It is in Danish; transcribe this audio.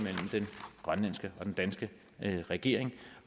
grønlandske og den danske regering